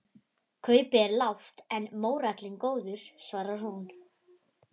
Kaupið er lágt en mórallinn góður, svarar hún.